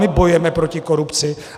My bojujeme proti korupci.